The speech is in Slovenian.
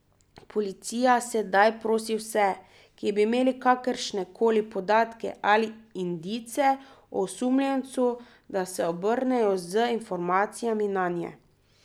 Policija sedaj prosi vse, ki bi imeli kakršne koli podatke ali indice o osumljencu, da se obrnejo z informacijami nanje.